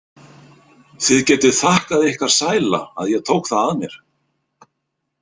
Þið getið þakkað ykkar sæla að ég tók það að mér.